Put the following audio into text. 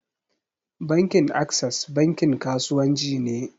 Bankin access bankin kasuwanci ne.